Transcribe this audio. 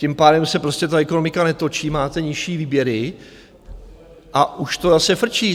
Tím pádem se prostě ta ekonomika netočí, máte nižší výběry a už to zase frčí.